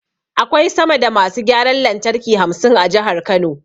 Akwai sama da masu gyaran lantarki hamsin a Jihar Kano.